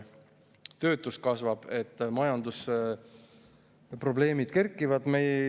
Töötus kasvab, majandusprobleemid kerkivad.